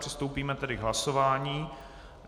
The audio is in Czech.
Přistoupíme tedy k hlasování.